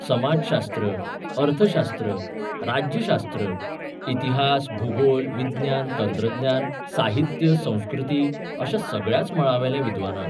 समाजशास्त्र, अर्थशास्त्र, राज्यशास्त्र, इतिहास, भुगोल, विज्ञान, तंत्रज्ञान, साहित्य, संस्कृती अश्या सगळ्याच मळांवेल्या विद्वानांक.